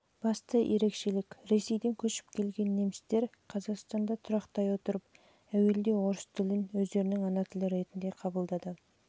басты ерекшелік ресейден көшіп келген немістер қазақстанда тұрақтай отырып әуелде орыс тілін өздерінің ана тілі ретінде